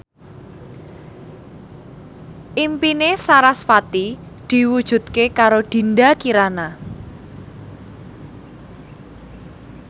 impine sarasvati diwujudke karo Dinda Kirana